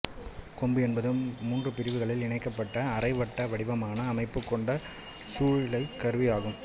கொம்பு என்பது மூன்று பிரிவுகளால் இணைக்கப்பட்டு அரை வட்ட வடிவமான அமைப்புக் கொண்ட குழலிசைக் கருவி ஆகும்